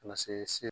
Ka na se